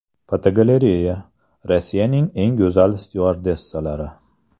Fotogalereya: Rossiyaning eng go‘zal styuardessalari.